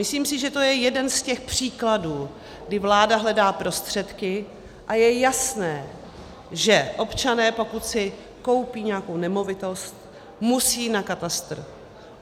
Myslím si, že to je jeden z těch příkladů, kdy vláda hledá prostředky, a je jasné, že občané, pokud si koupí nějakou nemovitost, musí na katastr.